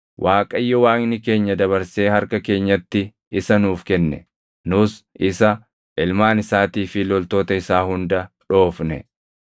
Waaqayyo Waaqni keenya dabarsee harka keenyatti isa nuuf kenne; nus isa, ilmaan isaatii fi loltoota isaa hunda dhoofne.